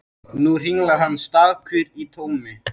Nú hringlar hann stakur í tómi.